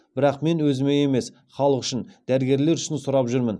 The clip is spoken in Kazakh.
бірақ мен өзіме емес халық үшін дәрігерлер үшін сұрап жүрмін